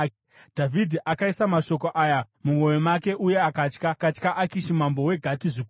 Dhavhidhi akaisa mashoko aya mumwoyo make uye akatya Akishi mambo weGati zvikuru.